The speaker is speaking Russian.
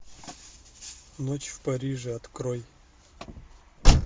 ночь в париже открой